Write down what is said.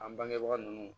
An bangebaga ninnu